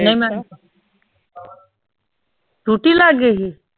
ਨਹੀਂ ਮੈਂ ਟੂਟੀ ਲਾਗੇ ਸੀ?